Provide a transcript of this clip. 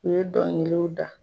U ye dɔnkiliw da.